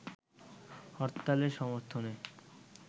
হরতালের সর্মথনে